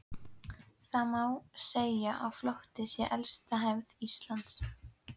Það má segja að flótti sé elsta hefð Íslendinga.